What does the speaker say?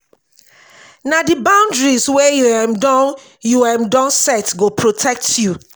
na di boundaries wey you um don you um don set go protect you.